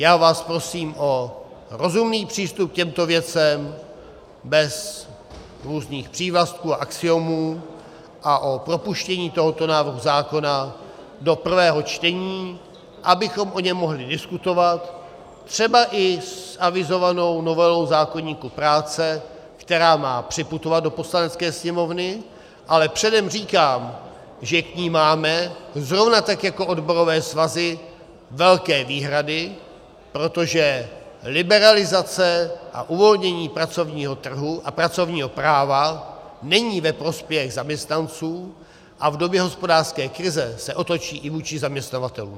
Já vás prosím o rozumný přístup k těmto věcem bez různých přívlastků a axiomů a o propuštění tohoto návrhu zákona do prvého čtení, abychom o něm mohli diskutovat třeba i s avizovanou novelou zákoníku práce, která má připutovat do Poslanecké sněmovny, ale předem říkám, že k ní máme zrovna tak jako odborové svazy velké výhrady, protože liberalizace a uvolnění pracovního trhu a pracovního práva není ve prospěch zaměstnanců a v době hospodářské krize se otočí i vůči zaměstnavatelům.